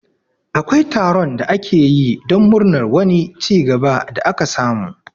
Akwai taron da ake yi don murnar wani cigaba da aka samu